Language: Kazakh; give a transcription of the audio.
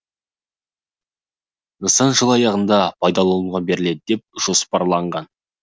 нысан жыл аяғында пайдалануға беріледі деп жоспарланған